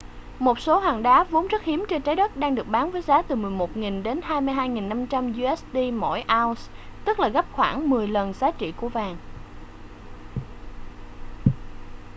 một số hòn đá vốn rất hiếm trên trái đất đang được bán với giá từ 11.000 đến 22.500 usd mỗi ounce tức là gấp khoảng mười lần giá trị của vàng